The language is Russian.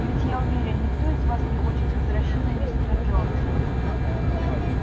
ведь я уверен никто из вас не хочет возвращения мистера джонса